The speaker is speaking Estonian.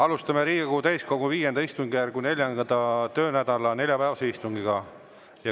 Alustame Riigikogu täiskogu V istungjärgu 4. töönädala neljapäevast istungit.